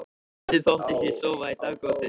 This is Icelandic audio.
Stundum þóttist ég sofa í dágóða stund.